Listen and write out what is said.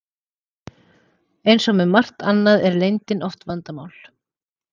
Eins og með margt annað er leyndin oft vandamál.